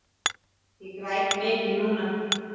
Ég græt mikið núna.